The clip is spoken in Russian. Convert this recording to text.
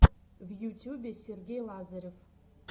в ютюбе сергей лазарев